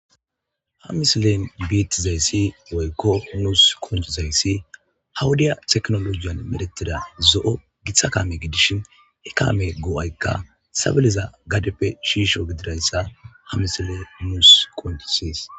Ha misilen biitizayssi goykko nuus konjizayssi hawudiya teknologiyan meretida zo'o githa kaame gidishin he kaame goo'aykka sabiliza gadeppe shiisho gidirayssa ha misile nuus konjisiis.